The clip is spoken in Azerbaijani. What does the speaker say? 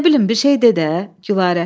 Nə bilim, bir şey de də, Gülarə.